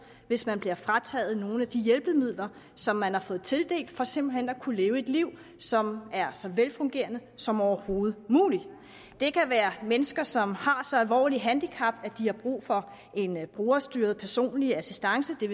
hvis man bliver frataget nogle af de hjælpemidler som man har fået tildelt for simpelt hen at kunne leve et liv som er så velfungerende som overhovedet muligt det kan være mennesker som har så alvorlige handicap at de har brug for en en brugerstyret personlig assistance det